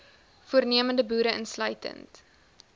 voornemende boere insluitend